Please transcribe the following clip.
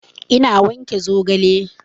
Ina wanke zogale